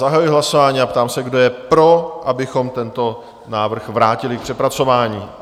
Zahajuji hlasování a ptám se, kdo je pro, abychom tento návrh vrátili k přepracování?